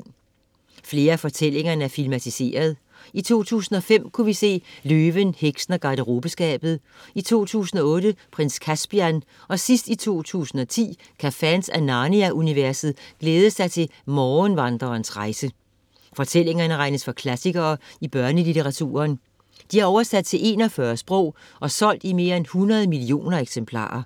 Flere af fortællingerne er filmatiseret, i 2005 kunne vi se Løven, Heksen og Garderobeskabet , i 2008 Prins Caspian og i sidst i 2010 kan fans af Narnia-universet glæde sig til Morgenvandererens rejse. Fortællingerne regnes for klassikere i børnelitteraturen. De er oversat til 41 sprog og er solgt i mere end 100 millioner eksemplarer.